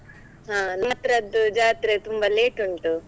ಹ ಜಾತ್ರೆ ತುಂಬಾ late ಉಂಟು.